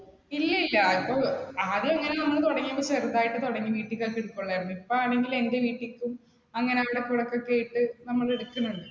ഇല്ല ഇല്ല അത്‌ ആദ്യം നമ്മൾ തുടങ്ങിയത് ചെറുതായിട്ട് തുടങ്ങി വീട്ടിൽ തന്നെ എടുകൊള്ളായിരുന്നു, ഇപ്പോഴെങ്കിലും എന്റെ വീട്ടിലേക്കും. അങ്ങനെ ഇവിടെ പുറത്തുള്ള വീട്ടില് നമ്മൾ എടുക്കുന്നുണ്ട്.